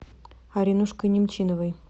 аринушкой немчиновой